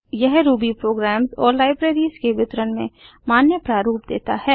यह Ruby programs और libraries के वितरण में मान्य प्रारूप देता है